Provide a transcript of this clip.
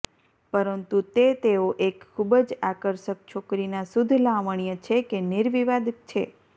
પરંતુ તે તેઓ એક ખૂબ જ આકર્ષક છોકરી ના શુદ્ધ લાવણ્ય છે કે નિર્વિવાદ છે